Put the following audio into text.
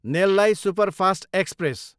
नेललाई superfast express